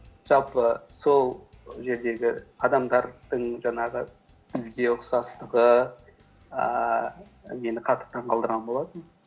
жалпы сол жердегі адамдардың жаңағы бізге ұқсастығы ііі мені қатты таңғалдырған болатын